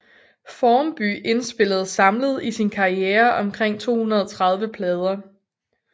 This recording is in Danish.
Formby indspillede samlet i sin karriere omkring 230 plader